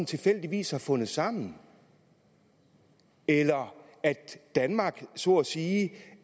tilfældigvis har fundet sammen eller at danmark så at sige